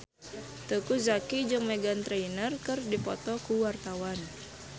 Teuku Zacky jeung Meghan Trainor keur dipoto ku wartawan